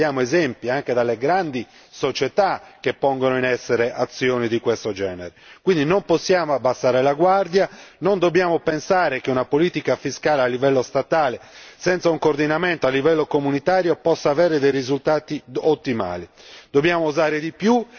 Ma anche oggi purtroppo vediamo esempi, anche dalle grandi società, che pongono in essere azioni di questo genere quindi non possiamo abbassare la guardia. Non dobbiamo pensare che una politica fiscale a livello statale, senza un coordinamento a livello comunitario, possa dare risultati ottimali.